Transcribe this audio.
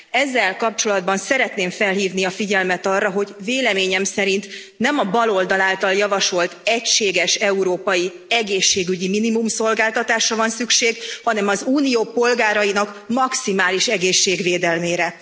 Ezzel kapcsolatban szeretném felhívni a figyelmet arra, hogy véleményem szerint nem a baloldal által javasolt egységes európai egészségügyi minimumszolgáltatásra van szükség, hanem az Unió polgárainak maximális egészségvédelmére.